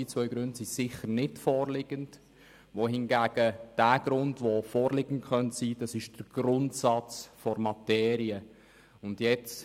Diese beiden Gründe liegen sichernicht vor, wohingegen der Grundsatz der Materie als Grund vorliegen könnte.